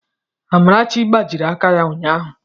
Amarachi gbajiri aka ya ụnyahụ.